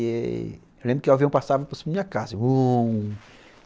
E eu lembro que o avião passava por cima da minha casa (Uou)